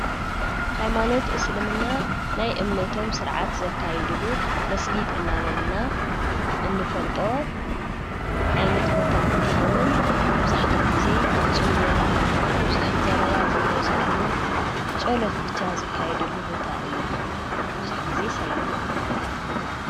ሃይማኖት እስልምና ናይ እምነቶም ሥርዓት ዘካይድሉ መስጊድ እናበልና እንፈልጦ ዓይነት ቦታ እንትኸውን መብዛሕቱእ ጊዜ ብጽምዋ ብዙኅ ዘረባ ዘይበዝኅሉ ጸሎት ብቻ ዘካይድሉ ቦታ እዩ ብዙኅ ጊዜ ሰላምካ ተረኽበሉ።